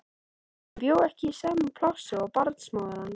Hann bjó ekki í sama plássi og barnsmóðir hans.